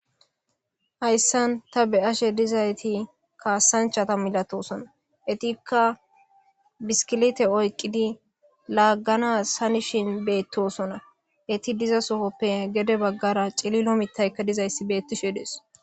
Hayssan ta be7ashe dizayti kaasanchata milatosona etikka biskilete oyqidi laaggana sanishin beettosona eti diza sohoppe gede baggara cililo mitaykka dizayssi beettisheedees.